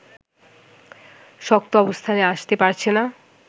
শক্ত অবস্থানে আসতে পারছে না